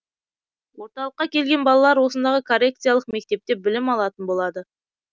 орталыққа келген балалар осындағы коррекциялық мектепте білім алатын болады